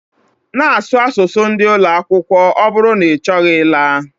Na asụ asụsụ ndi ụloakwụkwọ ọ bụrụ na ichọghị ịla